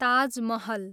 Taj Mahal